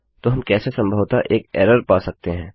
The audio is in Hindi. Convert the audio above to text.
तो हम कैसे संभवतः एक एररपा सकते हैं